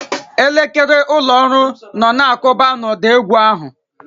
Elekere ụlọ ọrụ nọ na-akụba n'ụda égwú ahụ.